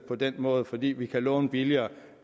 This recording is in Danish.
på den måde fordi vi kan låne billigere